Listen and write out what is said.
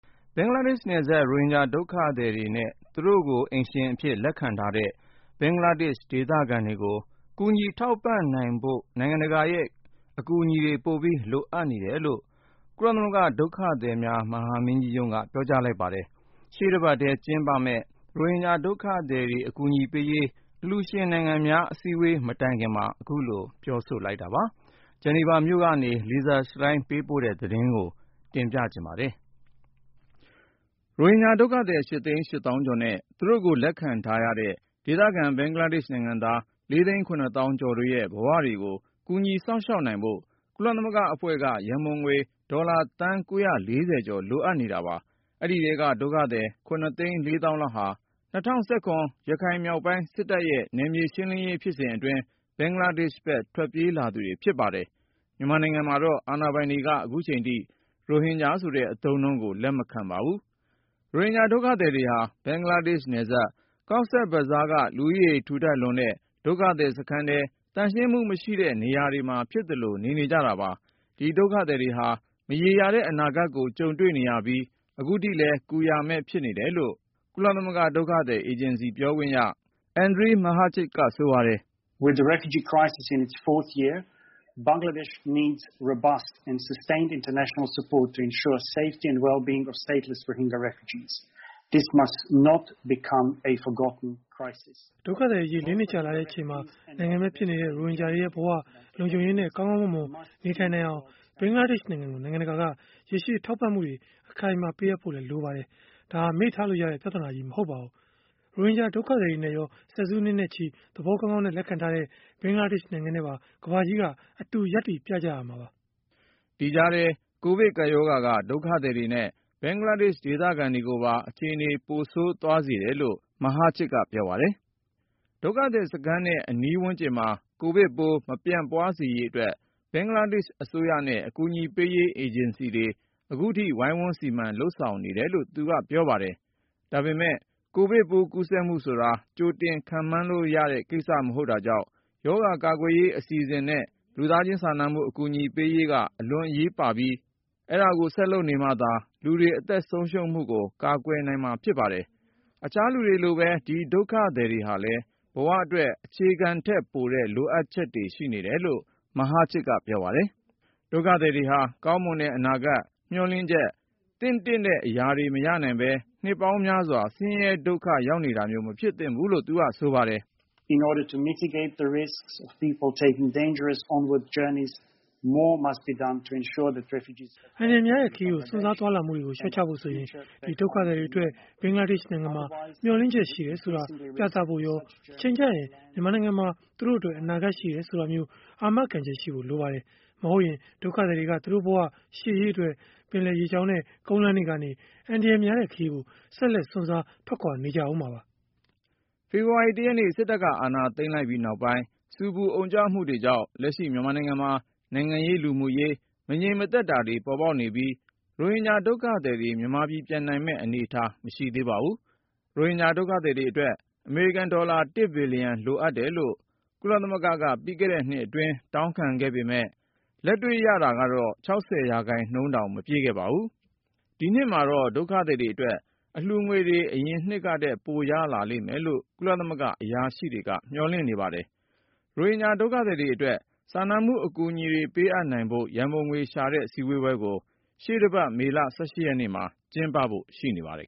ဘင်္ဂလားဒေ့ရှ်နယ်စပ်က ရိုဟင်ဂျာဒုက္ခသည်တွေနဲ့ သူတို့ကိုအိမ်ရှင်အဖြစ် လက်ခံထားတဲ့ ဘင်္ဂလားဒေ့ရှ်ဒေသခံတွေကို ကူညီထောက်ပံ့နိုနိုင်ဖို့ နိုင်ငံတကာရဲ့ ကူညီထောက်ပံ့မှု လိုအပ်နေတယ်လို့ ကုလသမဂ္ဂဒုက္ခသည်များ မဟာမင်းကြီးရုံးက ပြောကြားလိုက်ပါတယ်။ ရှေ့တပတ်ထဲကျင်းပမယ့် ရိုဟင်ဂျာတွေဒုက္ခသည်တွေ အကူအညီပေးရေး အလှူရှင်နိုင်ငံများ အစည်းအဝေး မတိုင်ခင် အဲဒီလို ပြောဆိုလိုက်တာပါ။ ဂျနီဗာမြိုကနေ Lisa Schlein ပေးပို့တဲ့သတင်းကို ကိုဉာဏ်ဝင်းအောင် တင်ပြမှာပါ။ ရိုဟင်ဂျာဒုက္ခသည် (၈ သိန်း ၈ သောင်း)ကျော်နဲ့ သူတို့ကို လက်ခံထားရတဲ့ ဒေသခံဘင်္ဂါလားဒေ့ရှ်နိုင်ငံသား (၄ သိန်း ၇ သောင်း)ကျော်ရဲ့ ဘဝတွေကို ကူညီစောင့်ရှောက်နိုင်ဖို့ ကုလသမဂ္ဂအဖွဲ့က ရန်ပုံငွေ ဒေါ်လာသန်း(၉၄၀)ကျော် လိုအပ်နေတာပါ။ အဲဒီထဲက ဒုက္ခသည် (၇ သိန်း ၄ သောင်း)လောက်ဟာ ၂၀၁၇ ရခိုင်မြောက်ပိုင်း စစ်တပ်ရဲ့ နယ်မြေရှင်းလင်းရေး ဖြစ်စဉ်အတွင်း ဘင်္ဂလားဒေ့ရှ်ဖက် ထွက်ပြေးလာသူတွေ ဖြစ်ပါတယ်။ မြန်မာနိုင်ငံမှာတော့ အာဏာပိုင်တွေက ခုချိန်ထိ ရိုဟင်ဂျာဆိုတဲ့အသုံးအနှုန်းကို လက်မခံပါဘူး။ ဘင်္ဂလားနယ်စပ် Cox’s Bazar က လူဦးရေထူထပ်လွန်းတဲ့ ဒုက္ခသည်စခန်းထဲ သန့်ရှင်းမှု မရှိတဲ့နေရာမှာ ဖြစ်သလို နေနေကြတာပါ။ ဒီဒုက္ခသည်တွေဟာ မရေရာတဲ့အနာဂတ်ကို ကြုံတွေ့နေရပြီး ခုထိလည်း ကူရာမဲ့ ဖြစ်နေတယ်လို့ ကုလသမဂ္ဂဒုက္ခသည်အေဂျင်စီ ပြောခွင့်ရ Andrej Mahecic က ဆိုပါတယ်။ “ဒုက္ခသည်အရေး ၄ နှစ်ကြာလာတဲ့ အချိန်မှာ နိုင်ငံမဲ့ဖြစ်နေတဲ့ ရိုဟင်ဂျာတွေရဲ့ ဘဝလုံခြုံရေးနဲ့ ကောင်းကောင်းမွန်မွန် နေထိုင်နိုင်အောင် ဘင်္ဂလားဒေ့ရှ်နိုင်ငံကို နိုင်ငံတကာက ရေရှည်ထောက်ပံ့မှုတွေ အခိုင်အမာ ပေးအပ်ဖို့ လိုအပ်ပါတယ်။ ဒါဟာ မေ့ထားလို့ရတဲ့ ပြဿနာကြီး မဟုတ်ပါဘူး။ ရိုဟင်ဂျာဒုက္ခသည်တွေနဲ့ရော ဆယ်စုနှစ်နဲ့ချီ သဘောကောင်းကောင်းနဲ့ လက်ခံထားတဲ့ ဘင်္ဂလားဒေ့ရှ်နိုင်ငံနဲ့ပါ ကမ္ဘာကြီးက အတူရပ်တည်ကြရမှာပါ။” ဒီကြားထဲ ကိုဗစ်ကပ်ရောဂါက ဒုက္ခသည်တွေနဲ့ ဘင်္ဂလားဒေသခံတွေကိုပါ အခြေအနေ ပိုဆိုးသွားစေတယ်လို့ Mahecic က ပြောပါတယ်။ ဒုက္ခသည်စခန်းနဲ့ အနီးဝန်းကျင်မှာ ကိုဗစ်ပိုး မပြန့်ပွားစေရေးအတွက် ဘင်္ဂလားဒေ့ရှ်အစိုးရနဲ့ အကူအညီပေးရေး အေဂျင်စီတွေ ခုထိ ဝိုင်းဝန်စီမံ လုပ်ဆောင်နေတယ်လို့လည်း သူက ပြောပါတယ်။ ဒါပေမဲ့ ကိုဗစ်ပိုးကူးစက်မှုဆိုတာ ကြိုတင်ခန့်မှန်းလို့ရတဲ့ကိစ္စ မဟုတ်တာကြောင့် ရောဂါကာကွယ်ရေးအစီအစဉ်နဲ့ လူသားချင်းစာနာမှု အကူအညီတွေပေးရေးက အလွန်အရေးပါပြီး အဲဒါကိုဆက်လုပ်နေမှသာ လူတွေအသက်ဆုံးရှုံးမှုကို ကာကွယ်နိုင်မှာဖြစ်ပါတယ်။ အခြားလူတွေလိုပဲ ဒီဒုက္ခသည်တွေဟာလည်း ဘဝအတွက် အခြေခံထက်ပိုတဲ့ လိုအပ်ချက်တွေ ရှိနေတယ်လို့ Mahecic က ပြောပါတယ်။ ဒုက္ခသည်တွေဟာ ကောင်းမွန်တဲ့ အနာဂတ်၊ မျှော်လင့်ချက်၊ သင့်တင့်တဲ့အရာတွေ မရနိုင်ပဲ နှစ်ပေါင်းများစွာ ဆင်းရဲဒုက္ခရောက်နေတာမျိုး မဖြစ်သင့်ဘူးလို့ သူက ဆိုပါတယ်။ “အန္တရာယ်များတဲ့ခရီးကို စွန့်စားသွားလာမှုတွေကို လျှော့ချဖို့ဆိုရင်၊ ဒီဒုက္ခသည်အတွက် ဘင်္ဂလားဒေ့ရှ်နိုင်ငံမှာ မျှော်လင့်ချက်ရှိတယ်ဆိုတာ ပြသဖို့ရော ၊ တချိန်ကျရင် မြန်မာနိုင်ငံမှာ သူတို့အတွက် အနာဂတ်ရှိတယ် ဆိုတာမျိုး အာမခံချက်ရှိဖို့လိုပါတယ်။ မဟုတ်ရင် ဒုက္ခသည်တွေက သူတို့ဘဝ ရှေ့ရေးအတွက် ပင်လယ်ရေကြောင်းနဲ့ ကုန်လမ်းတွေကနေ အန္တရာယ်များတဲ့ခရီးကို ဆက်လက် စွန့်စား ထွက်ခွာ နေကြဦးမှာပါ။” ဖေဖေါ်ဝါရီ(၁)ရက်နေ့ စစ်တပ်ကအာဏာသိမ်းပြီးနောက်ပိုင်း ဆူပူအုံကြွမှုတွေကြောင့် လက်ရှိ မြန်မာနိုင်ငံမှာ နိုင်ငံရေး၊ လူမှုရေး မငြိမ်သက်တာတွေ ပေါ်ပေါက်နေပြီး ရိုဟင်ဂျာဒုက္ခသည်တွေ မြန်မာပြည် ပြန်နိုင်မယ့် အနေအထားမရှိသေးပါဘူး။ ရိုဟင်ဂျာဒုက္ခသည်တွေအတွက် အမေရိကန်ဒေါ်လာ (၁)ဘီလျံ လိုအပ်တယ်လို့ ကုလသမဂ္ဂက ပြီးခဲ့တဲ့နှစ်အတွင်း တောင်းခံခဲ့ပေမယ့် လက်တွေ့မှာတော့ ၆၀% တောင်မပြည့်ခဲ့ပါဘူး။ ဒီနှစ်မှာတော့ ဒုက္ခသည်အတွက် အလှူငွေ အရင်နှစ်ကထက် ပိုရလာမယ်လို့ ကုလ-အရာရှိတွေက မျှော်လင့်နေကြပါတယ်။ ရိုဟင်ဂျာဒုက္ခသည်တွေအတွက် စာနာမှု အကူအညီတွေ ပေးအပ်နိုင်ဖို့ ရန်ပုံငွေရှာတဲ့ စည်းဝေးပွဲကို ရှေ့တပတ် မေလ(၁၈)ရက်မှာ ကျင်းပဖို့ရှိပါတယ်